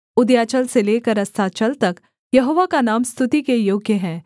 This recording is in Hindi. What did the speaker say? उदयाचल से लेकर अस्ताचल तक यहोवा का नाम स्तुति के योग्य है